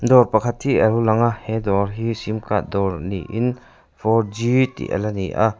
dawr pakhat hi a lo lang a he dawr hi sim card dawr niin four g tih a la ni a--